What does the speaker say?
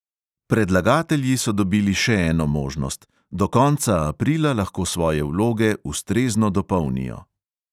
Predlagatelji so dobili še eno možnost: do konca aprila lahko svoje vloge ustrezno dopolnijo.